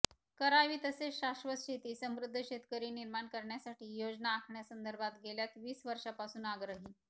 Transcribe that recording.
करावी तसेच शाश्वत शेती समृद्ध शेतकरी निर्माण करण्यासाठी योजना आखण्यासंदर्भात गेल्या वीस वर्षापासून आग्रही